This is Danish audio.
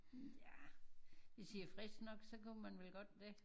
Nja hvis i er friske nok så kunne man vel godt det?